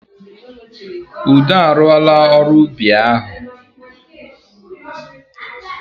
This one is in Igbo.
Udo a rụọla ọrụ ubi ahụ.